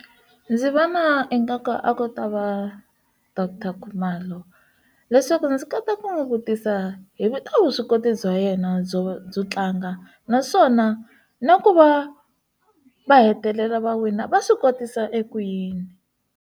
Ndzi va na ingaku a ku ta va Doctor Khumalo leswaku ndzi kota ku n'wi vutisa hi vito vuswikoti bya yena byo byo tlanga naswona na ku va va hetelela va wina va swi kotisa eku yini.